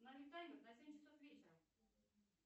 установи таймер на семь часов вечера